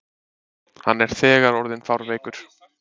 Hann er þegar orðinn fárveikur.